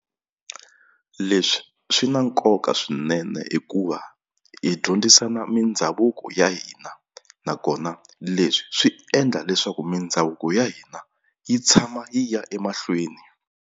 Leswi swi na nkoka swinene hikuva hi dyondzisana mindhavuko ya hina nakona leswi swi endla leswaku mindhavuko ya hina yi tshama yi ya emahlweni.